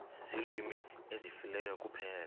ziilwimi ezifileyo kuphela